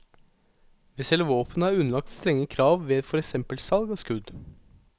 Vi selger våpen og er underlagt strenge krav ved for eksempel salg av skudd.